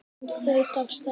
Hún þaut af stað.